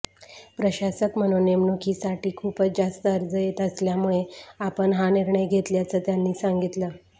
प्रशासक म्हणून नेमणुकीसाठी खूपच जास्त अर्ज येत असल्यामुळे आपण हा निर्णय घेतल्याचं त्यांनी सांगितलं